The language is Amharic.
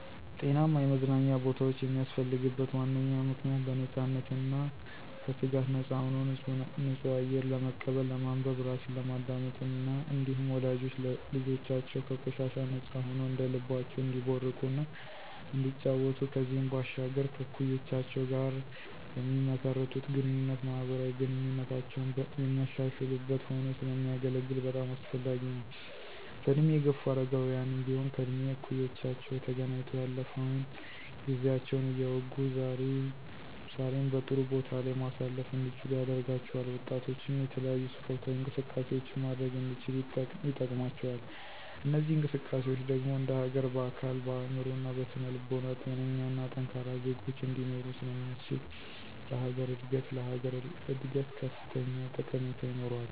ጤናማ የመዝናኛ ቦታወች የሚያስፈልግበት ዋነኛ ምክንያት .በነፃነትና ከስጋት ነፃ ሆኖ ንፁህ አየር ለመቀበል፣ ለማንበብ፣ ራስን ለማዳመጥ እና እንዲሁም ወላጆች ልጆቻቸው ከቆሻሻ ነፃ ሆነዉ እንደልባቸው እንዲቦርቁ እና እንዲጫወቱ ከዚህም ባሻገር ከእኩዮቻቸው ጋር በሚመሰርቱት ግንኙነት ማህበራዊ ግንኙነታቸውን የሚያሻሽሉበት ሆኖ ስለሚያገለግል በጣም አስፈላጊ ነው። በእድሜ የገፉ አረጋውያንም ቢሆን ከእድሜ እኩዮቻቸው ተገናኝተው ያለፈውን ጊዜያቸውን እያወጉ ዛሬን በጥሩ ቦታ ላይ ማሳለፍ እንዲችሉ ያደርጋቸዋል። ወጣቶችም የተለያዩ ስፖርታዊ እንቅስቃሴዎችን ማድረግ እንዲችሉ ይጠቅማቸዋል። እነዚህ እንቅስቃሴዎች ደግሞ እንደሀገር በአካል፣ በአእምሮ እና በስነ ልቦና ጤነኛና ጠንካራ ዜጎች እንዲኖሮ ስለሚያስችል ለሀገር እድገት ላሀገር እድገት ከፍተኛ ጠቀሜታ ይኖረዋል።